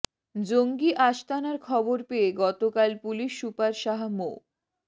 জঙ্গি আস্তানার খবর পেয়ে গতকাল পুলিশ সুপার শাহ মো